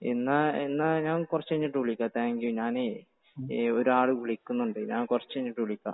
എന്നാൽ ഞാൻ കുറച്ചു കഴിഞ്ഞിട്ട് വിളിക്കാം താങ്ക്യൂ ഞാനേ ഒരാൾ വിളിക്കുന്നത് ഞാൻ കുറച്ചു കഴിഞ്ഞിട്ട് വിളിക്കാം.